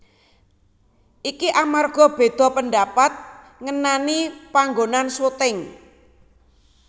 Iki amarga beda pendapat ngenani panggonan syuting